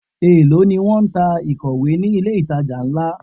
Èló ni wón ń ta ìkọ̀wé ni ilé ìtajà ńlá?